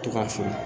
To ka fili